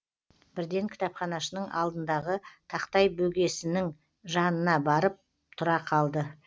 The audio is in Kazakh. бірден кітапханашының алдындағы тақтай бөгесіннің жанына барып тұра қалды